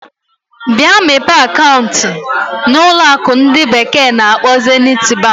Bịa mepee akaụntụ na na ụlọ akụ ndi bekee na-akpo Zenit Bank.